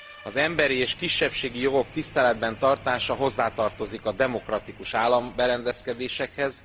Az emberi és kisebbségi jogok tiszteletben tartása hozzátartozik a demokratikus államberendezkedésekhez.